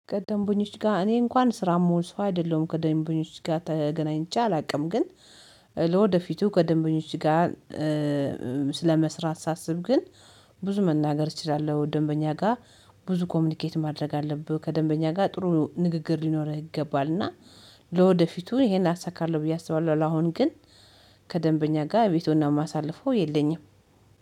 ከደንበኞች ጋር እኔ እንኳን ስራ የምዉል ሰው አይደለሁም ከደንበኞች ጋር ተገናኝቼ አላውቅም። ግን ለወደፊቱ ከደንበኞች ጋር ስለመስራት ሳስብ ግን ብዙ መናገር እችላለሁ። ደንበኛ ጋር ብዙ ኮሚኒኬት ማድረግ አለብህ ከደንበኛ ጋር ጥሩ ንግግር ሊኖርህ ይገባል። እና ለወደፊቱ ይሄን አሳካለሁ ብዬ አስባለሁ። አሁን ግን ከደንበኛ ጋር ቤቱን ማሳለፉ የለኝም።